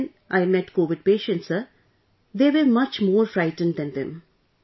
And when I met Covid patients Sir, they were much more frightened than them